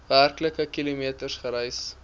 werklike kilometers gereis